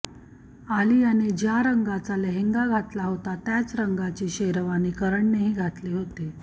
आलियाने ज्या रंगाचा लेहंगा घातला होता त्याच रंगाची शेरवानी करणनेही घातली होती